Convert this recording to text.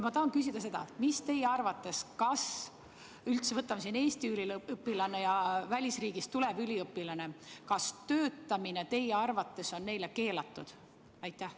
Ma tahan küsida seda: kas teie arvates – võtame Eestist pärit üliõpilase ja välisriigist tuleva üliõpilase – on neil töötamine keelatud?